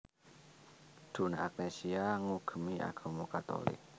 Donna Agnesia ngugemi agama Katolik